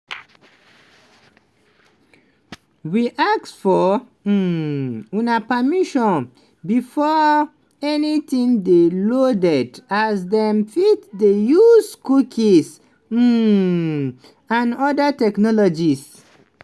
we ask for um una permission before anytin dey loaded as dem fit dey use cookies um and oda technologies.